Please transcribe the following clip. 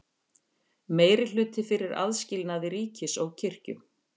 Meirihluti fyrir aðskilnaði ríkis og kirkju